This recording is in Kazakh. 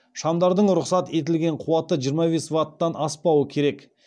шамдардың рұқсат етілген қуаты жиырма бес ваттан аспауы керек